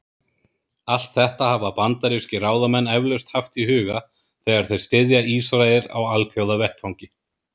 Allt þetta hafa bandarískir ráðamenn eflaust haft í huga, þegar þeir styðja Ísrael á alþjóðavettvangi.